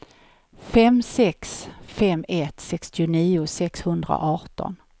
fem sex fem ett sextionio sexhundraarton